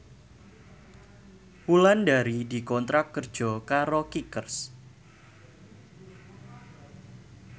Wulandari dikontrak kerja karo Kickers